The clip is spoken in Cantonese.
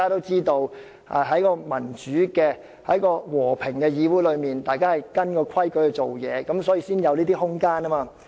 在民主和平的議會中，大家都按規矩辦事，所以才會有"拉布"的空間。